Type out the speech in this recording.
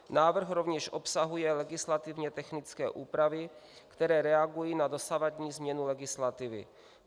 Návrh rovněž obsahuje legislativně technické úpravy, které reagují na dosavadní změnu legislativy.